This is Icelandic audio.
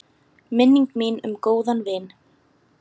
Minning mín um góðan vin.